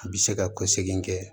A bɛ se ka ko segin kɛ